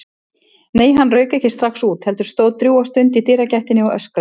Nei, hann rauk ekki strax út, heldur stóð drjúga stund í dyragættinni og öskraði.